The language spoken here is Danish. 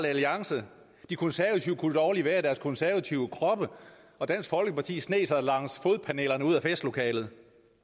alliance de konservative kunne dårligt være i deres konservative kroppe og dansk folkeparti sneg sig langs fodpanelerne ud af festlokalet